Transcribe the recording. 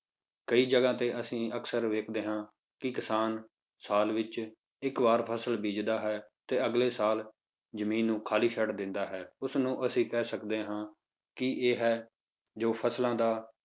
ਕਈ ਜਗ੍ਹਾ ਤੇ ਅਸੀਂ ਅਕਸਰ ਵੇਖਦੇ ਹਾਂ ਕਿ ਕਿਸਾਨ ਸਾਲ ਵਿੱਚ ਇੱਕ ਵਾਰ ਫਸਲ ਬੀਜਦਾ ਹੈ ਅਤੇ ਅਗਲੇ ਸਾਲ ਜ਼ਮੀਨ ਨੂੰ ਖਾਲੀ ਛੱਡ ਦਿੰਦਾ ਹੈ, ਉਸ ਨੂੰ ਅਸੀਂ ਕਹਿ ਸਕਦੇ ਹਾਂ ਕਿ ਇਹ ਹੈ ਜੋ ਫਸਲਾਂ ਦਾ